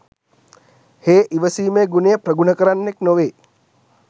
හේ ඉවසීමේ ගුණය ප්‍රගුණ කරන්නෙක් නොවේ.